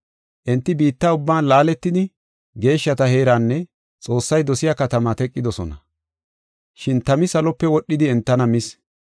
Enti biitta ubban laaletidi, geeshshata heeranne Xoossay dosiya katamaa teqidosona. Shin tami salope wodhidi entana mis.